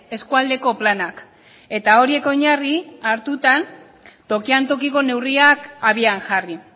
eskualdeko planak eta horiek oinarri hartuta tokian tokiko neurriak abian jarri